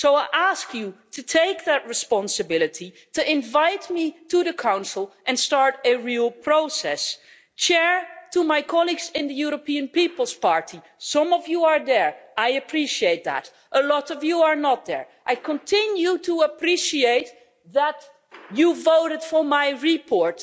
So I ask you to take that responsibility, to invite me to the Council and start a real process. To my colleagues in the European People's Party some of you are there, I appreciate that, a lot of you are not there I continue to appreciate that you voted for my report,